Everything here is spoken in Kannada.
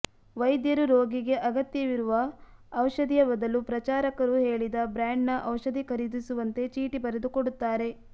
ವೈದ್ಯರು ರೋಗಿಗೆ ಅಗತ್ಯ ಇರುವ ಔಷಧಿಯ ಬದಲು ಪ್ರಚಾರಕರು ಹೇಳಿದ ಬ್ರ್ಯಾಂಡ್ನ ಔಷಧಿ ಖರೀದಿಸುವಂತೆ ಚೀಟಿ ಬರೆದುಕೊಡುತ್ತಾರೆ